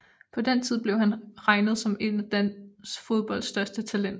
På den tid blev han regnet som et af dansk fodbolds største talenter